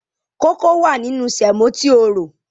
Kókó wà nínú sèmò tí o rò.